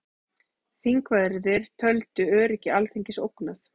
Þingverðir töldu öryggi Alþingis ógnað